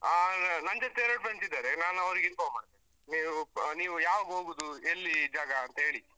ಹ ನನ್ ಜೊತೆ ಎರಡು friends ಇದ್ದಾರೆ. ನಾನ್ ಅವ್ರಿಗೆ inform ಮಾಡ್ತೇನೆ. ನೀವ್ ಅಹ್ ನೀವ್ ಯಾವಾಗ ಹೋಗುದು ಎಲ್ಲಿ ಜಾಗ ಅಂತ ಹೇಳಿ.